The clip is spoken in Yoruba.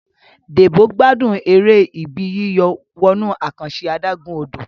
Debo gbádùn èrè Ibi yíyọ̀ wọnú àkànṣe adágún-odò